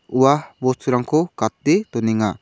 ua bosturangko gate donenga.